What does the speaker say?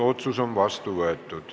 Otsus on vastu võetud.